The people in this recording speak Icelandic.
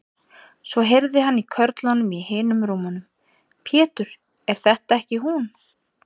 Svo heyrði hann í körlunum í hinum rúmunum: Pétur, er þetta ekki hún.